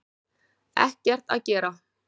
Ekkert að gera